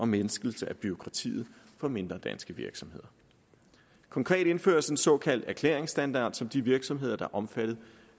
mindskelse af bureaukratiet for mindre danske virksomheder konkret indføres en såkaldt erklæringsstandard som de virksomheder der er omfattet